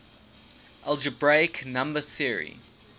algebraic number theory